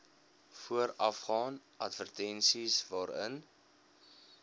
voorafgaan advertensies waarin